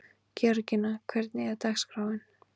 Georgía, hvernig er dagskráin?